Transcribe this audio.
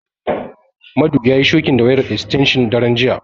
Madu yayi shokin da wayar estenshin daren jiya.